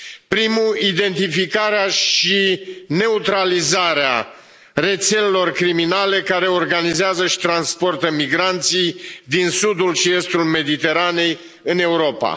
Primul, identificarea și neutralizarea rețelelor criminale care organizează și transportă migranții din sudul și estul Mediteranei în Europa.